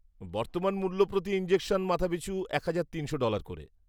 বর্তমান মূল্য প্রতি ইনজেকশন মাথাপিছু এক হাজার তিনশো ডলার করে।